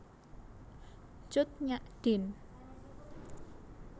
Cut Nyak Dien